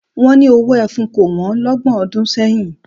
Wọ́n ni owó ẹfun kò wọ́n lọ́gbọ̀n ọdún sẹ́yìn